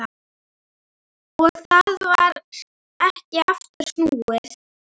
Og það var ekki aftur snúið.